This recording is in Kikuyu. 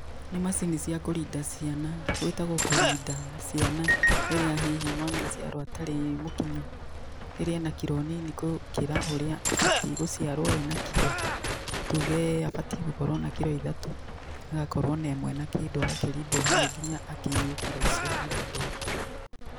Nĩ macini cia kũrinda ciana, gũĩtagwo kũrinda ciana, rĩrĩa hihi mwana aciarwo atarĩ mũkinyu, rĩrĩa ena kiro nini gũkĩra ũrĩa abatiĩ gũciarwo ena kiro, tuge abatiĩ gũkorwo na kiro ithatũ agakorwo na ĩmwe na kĩndũ, agakĩrindwo hau nginya akinyie kiro icio arendwo.